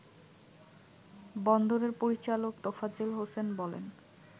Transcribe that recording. বন্দরের পরিচালক তোফাজ্জেল হোসেন বলেন